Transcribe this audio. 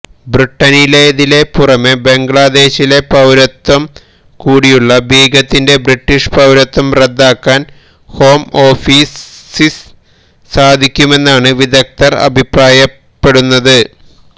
ബ്രിട്ടനിലേതിനെ പുറമെ ബംഗ്ലാദേശിലെ പൌരത്വം കൂടിയുള്ള ബീഗത്തിന്റെ ബ്രിട്ടീഷ് പൌരത്വം റദ്ദാക്കാൻ ഹോം ഓഫീസിസ് സാധിക്കുമെന്നാണ് വിദഗ്ദ്ധർ അഭിപ്രായപ്പെടുന്നത്